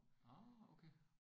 Nåh okay